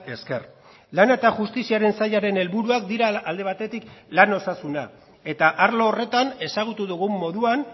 esker lana eta justiziaren sailaren helburuak dira alde batetik lan osasuna eta arlo horretan ezagutu dugun moduan